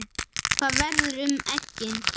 Hvað verður um eggin?